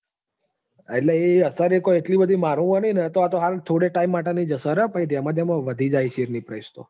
એટલે એ અસર એ કોઈ એટલી બધી મારુ માંનો ન તો આ તો હાલ થોડા time માટે ની જ અસર છે. પછી ધેમ ધેમ વધી જાહે share ની price તો.